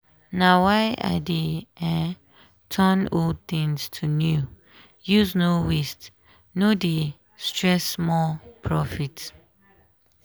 na why i dey um turn old things to new use no waste no um stress more profit.